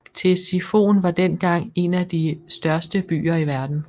Ktesifon var dengang en af de største byer i verden